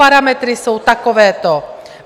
Parametry jsou takovéto.